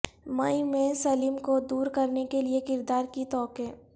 مئی میں سلیم کو دور کرنے کے لئے کردار کی توقع